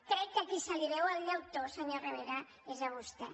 crec que a qui se li veu el llautó senyor rivera és a vostè